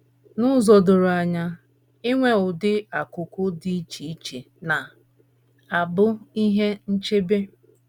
N’ụzọ doro anya, inwe ụdị akụ́kụ́ dị iche iche na - abụ ihe nchebe.